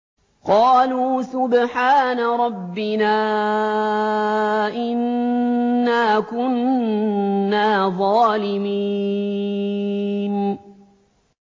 قَالُوا سُبْحَانَ رَبِّنَا إِنَّا كُنَّا ظَالِمِينَ